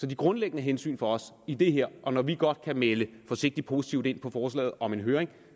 de grundlæggende hensyn for os i det her og når vi godt kan melde forsigtigt positivt ind på forslaget om en høring